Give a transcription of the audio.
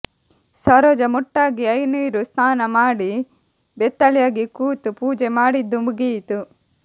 ಸರೋಜ ಮುಟ್ಟಾಗಿ ಐನೀರು ಸ್ನಾನ ಮಾಡಿ ಬೆತ್ತಲೆಯಾಗಿ ಕೂತು ಪೂಜೆ ಮಾಡಿದ್ದೂ ಮುಗಿಯಿತು